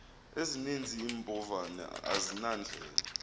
ezininzi iimbovane azinandlela